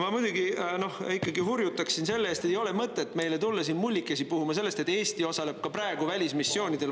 Ma muidugi hurjutaks selle eest, et ei ole mõtet meile tulla siin mullikesi puhuma sellest, et Eesti osaleb ka praegu välismissioonidel.